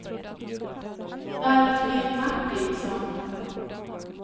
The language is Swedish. Valfrid Martinsson